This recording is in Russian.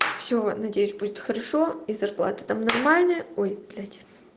всё надеюсь будет хорошо и зарплата там нормальная ой блять